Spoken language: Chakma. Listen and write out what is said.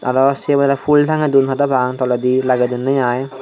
arow sibereh phul tangedun parapang toledi lagedunneh aai.